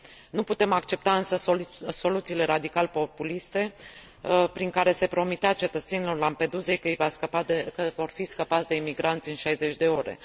Nu putem accepta însă soluțiile radical populiste prin care se promitea cetățenilor Lampedusei că vor fi scăpați de imigranți în 60 de ore.